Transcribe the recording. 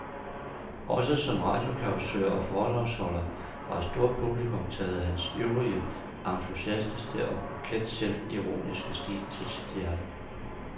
Også som radiocausør og foredragsholder har et stort publikum taget hans ivrige, entusiastiske og koket selvironiske stil til sit hjerte.